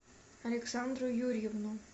александру юрьевну